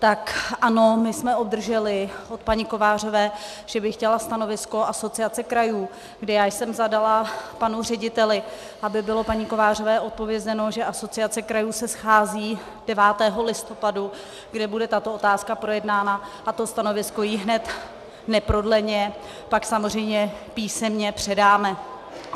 Tak ano, my jsme obdrželi od paní Kovářové, že by chtěla stanovisko Asociace krajů, kdy já jsem zadala panu řediteli, aby bylo paní Kovářové odpovězeno, že Asociace krajů se schází 9. listopadu, kde bude tato otázka projednána, a to stanovisko jí hned, neprodleně pak samozřejmě písemně předáme.